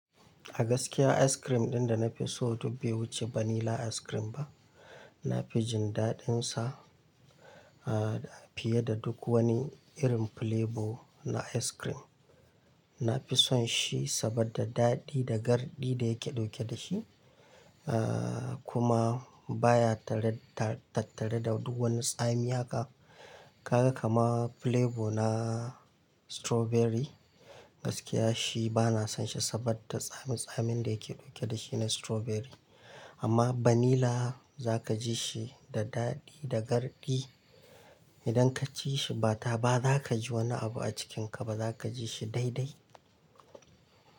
A gaskiya ice cream ɗin da na fi so duk bai wuce vanilla ice cream ba. Na fi jin daɗinsa, ah, fiye da duk wani irin flavor na ice cream. Na fi son shi saboda daɗi da garɗi da yake ɗauke da shi, ah, kuma baya tattare da duk wani tsami. Haka ka ga kamar flavor na strawberry gaskiya shi ba na son shi saboda tsamin-tsamin da yake ɗauke da shi na strawberry. Amma vanilla za ka ji shi da daɗi da garɗi. Idan ka ci shi ba taba za ka ji wani abu a cikinka ba. Za ka ji shi daidai.